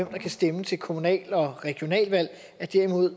kan stemme til kommunale og regionale valg i